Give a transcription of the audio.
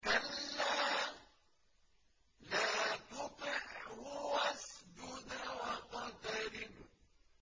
كَلَّا لَا تُطِعْهُ وَاسْجُدْ وَاقْتَرِب ۩